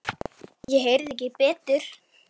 Ég heyrði ekki betur.